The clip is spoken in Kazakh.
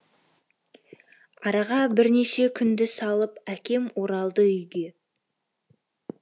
араға бірнеше күнді салып әкем оралды үйге